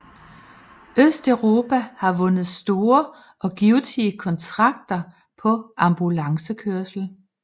Østeuropa vundet store og givtige kontrakter på ambulancekørsel